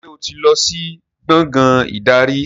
Ṣé o ti lọ sí gbàngán ìdarí?